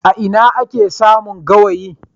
Ina ake samun gawayi?